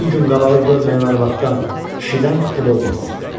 Yeddi gün qabağı görməyən arvaddan, kişidən ev olmaz.